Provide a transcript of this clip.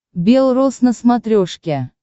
бел роз на смотрешке